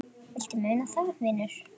Viltu muna það, vinur?